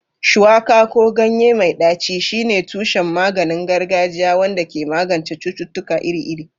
Shuwaka, ko ganye mai ɗaci, shine tushen maganin gargajiya wanda ke magance cututtuka iri-iri.